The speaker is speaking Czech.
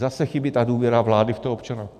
Zase chybí ta důvěra vlády v toho občana.